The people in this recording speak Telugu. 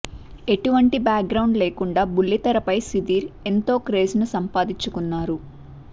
ఎటువంటి బ్యాక్ గ్రౌండ్ లేకుండా బుల్లితెరపై సుధీర్ ఎంతో క్రేజ్ ను సంపాదించుకున్నారు